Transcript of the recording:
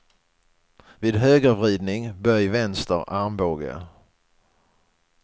Vid högervridning, böj vänster armbåge.